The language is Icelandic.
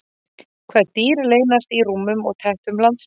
Hvaða dýr leynast í rúmum og teppum landsmanna?